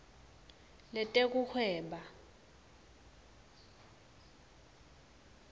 letekuhweba